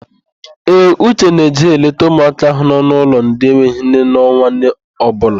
Ee, Uche na-eje eleta ụmụaka ahụ n'ụlọ ndị enweghị nne n'ọnwa ọbụla.